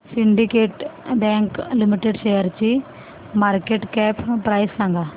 Syndicate bank limited शेअरची market cap price सांगा